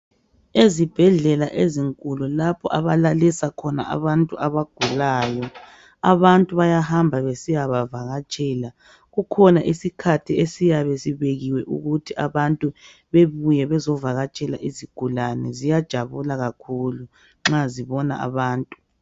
Ezibhedlela ezinkulu lapho abalalisa khona abantu abagulayo abantu bayahamba besiya bavakatshela kukhona isikhathi esiyabe sibekiwe ukuthi abantu bebuye bezovakatshela izigulane ziyajabula kakhulu nxa zibona abantu.